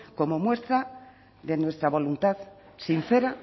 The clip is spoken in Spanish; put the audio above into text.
como muestra de nuestra voluntad sincera